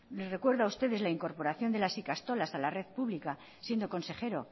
les recuerdo a ustedes la incorporación de las ikastolas a la red pública siendo consejero